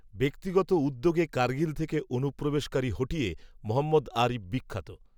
ব্যক্তিগত উদ্যোগে কার্গিল থেকে অনুপ্রবেশকারী হঠিয়ে মহম্মদ আরিফ বিখ্যাত